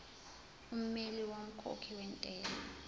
ummeli womkhokhi wentela